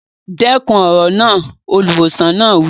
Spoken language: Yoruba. Dẹ́kun èrò náà! Olùwòsàn náà wí.